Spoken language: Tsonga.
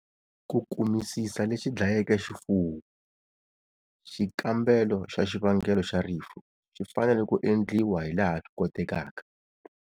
Ku kumisisa lexi dlayeke xifuwo, xikambelo xa xivangelo xa rifu xi fanele ku endliwa hilaha swi kotekaka.